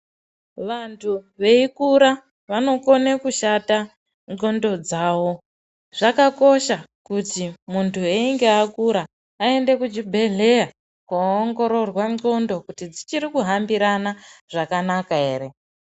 Vantu veikura vanogone kushata nzxondo dzavo, zvakakosha kuti muntu einge akura aende muchibhehlera kunoongororwa nzxondo kuti dzichiri kuhambirana zvakanaka here.